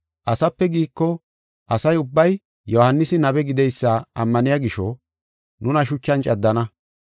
“Asape giiko, asa ubbay Yohaanisi nabe gideysa ammaniya gisho nuna shuchan caddana.”